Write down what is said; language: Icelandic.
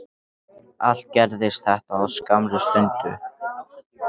Allt gerðist þetta á skammri stundu.